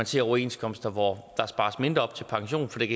se overenskomster hvor der spares mindre op til pension fordi